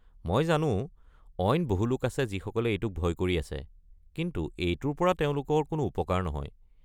মই জানো, অইন বহু লোক আছে যিসকলে এইটোক ভয় কৰি আছে, কিন্তু এইটোৰ পৰা তেওঁলোকৰ কোনো উপকাৰ নহয়।